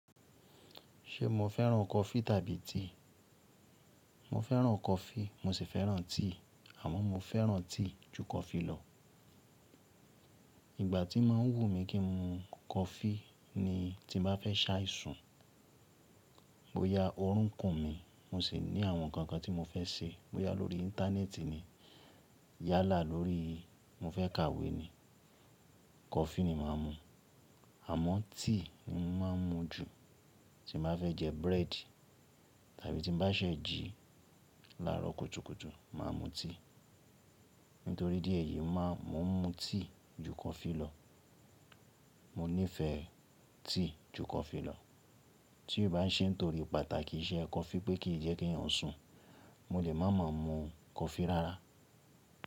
Ṣe mo fẹ́ràn coffee tàbí tea? Mo fẹ́ràn coffee mo sì fẹ́ràn tea, àmọ́ mo fẹ́ràn tea ju coffee lọ. Ìgbà tí máa ń wù mí kí n mu coffee ni tí n bá fẹ́ ṣàìsùn, bóyá ọrùn kùn mí, mo sì ní àwọn ǹkan kan tí mo fẹ́ ṣe, bóyá lórí Íńtánẹ́ẹ̀tì ni, yálà lórí, mo fẹ́ kàwé ni, coffee ni màá mu. Àmọ́ tea ni mo máa ń mu jù, tí n bá fẹ́ jẹ bread tàbí tí n bá ṣẹ̀ jí láàárọ̀ kùtùkùtù, màá mu tea. Nítorí idi eyi máa, mo ń mu tea ju coffee lọ. Mo nífẹ̀ẹ́ tea ju coffee lọ. Tí ó bá ṣé nítorí pàtàkì iṣẹ́ coffee pé kì í jẹ́ kí èèyàn sùn, mo lè má mà mú coffee rárá.